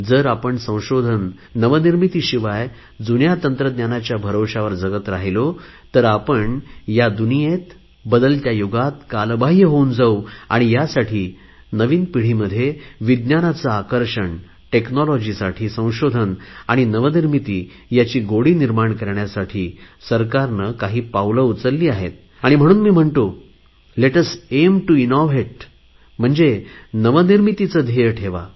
जर आपण संशोधन नवनिर्मितीशिवाय जुन्या तंत्रज्ञानाच्या भरवशावर जगत राहिलो तर आपण या दुनियेत बदलत्या युगात कालबाहय होऊन जाऊ यासाठी नवीन पिढीमध्ये विज्ञानाचे आकर्षण टेक्नॉलॉजीसाठी संशोधन आणि नवनिर्मिती याची गोडी निर्माण करण्यासाठी सरकारने काही पावले उचलली आहेत आणि म्हणून मी म्हणतो let us aim to innovate म्हणजे नवनिर्मितीचे ध्येय ठेवा